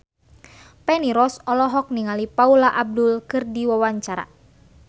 Feni Rose olohok ningali Paula Abdul keur diwawancara